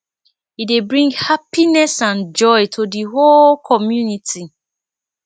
e dey bring hapiness and joy to di whole community